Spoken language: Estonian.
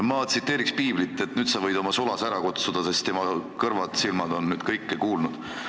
Ma tsiteerin piiblit, et nüüd sa võid oma sulase ära kutsuda, sest tema kõrvad-silmad on kõike kuulnud.